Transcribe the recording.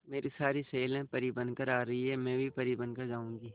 मेरी सारी सहेलियां परी बनकर आ रही है मैं भी परी बन कर जाऊंगी